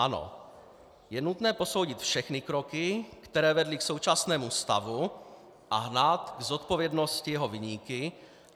Ano, je nutné posoudit všechny kroky, které vedly k současnému stavu, a hnát k zodpovědnosti jeho viníky.